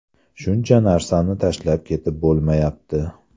Shuncha narsani tashlab ketib bo‘lmayapti.